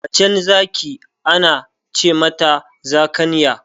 Macen zaki Ana ce mata zakanya.